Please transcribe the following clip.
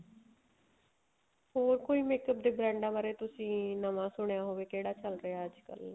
ਹੋਰ ਕੋਈ makeup ਦੇ ਬ੍ਰੇਂਡਾ ਬਾਰੇ ਤੁਸੀਂ ਨਵਾਂ ਸੁਣਿਆ ਹੋਵੇ ਕਿਹੜਾ ਚੱਲ ਰਿਹਾ ਅੱਜਕਲ